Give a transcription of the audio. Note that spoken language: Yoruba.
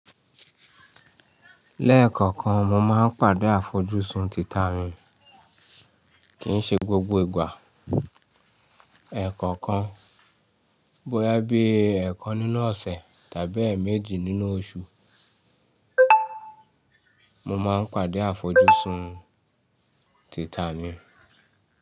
Lẹ́ẹ̀kankan, mo máa ń pàdé àfojúsùn tìta mi. Kì í ṣe gbogbo ìgbà. Ẹ̀kankan. Bóyá bí ẹ̀ẹ̀kan nínú ọ̀sẹ̀ tàbí èmejì nínú oṣù, mo máa ń pàdé àfojúsùn tìta mi.